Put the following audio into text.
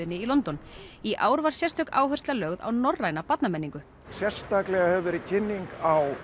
í London í ár var sérstök áhersla lögð á norræna barnamenningu sérstaklega hefur verið kynning á